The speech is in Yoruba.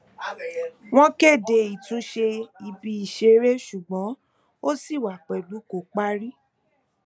wọn kéde ìtúnṣe ibi ìṣeré ṣùgbọn ó ṣì wà pẹlú kò parí